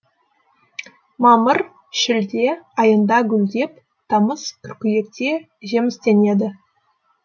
мамыр шілде айында гүлдеп тамыз қыркүйекте жемістенеді